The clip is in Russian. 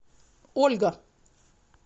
ольга